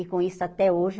E com isso, até hoje,